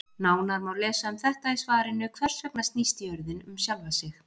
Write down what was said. Nánar má lesa um þetta í svarinu Hvers vegna snýst jörðin um sjálfa sig?